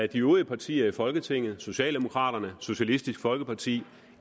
de øvrige partier i folketinget socialdemokraterne socialistisk folkeparti